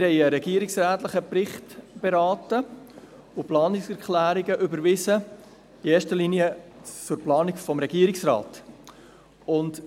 Wir haben einen regierungsrätlichen Bericht beraten und die Planungserklärungen in erster Linie für die Planung des Regierungsrates überwiesen.